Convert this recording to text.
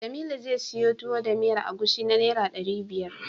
Jamilu zai siyo Tuwo da miyar agushi na Naira ɗari biyar.